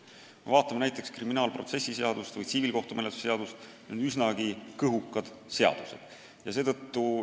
Kui me vaatame kriminaalmenetluse või tsiviilkohtumenetluse seadustikku, siis näeme, et need on üsnagi kõhukad õigusaktid.